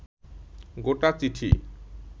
গোটা চিঠি